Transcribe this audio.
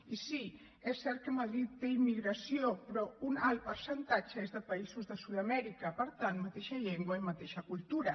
i sí és cert que madrid té immigració però un alt percentatge és de països de sud amèrica per tant mateixa llengua i mateixa cultura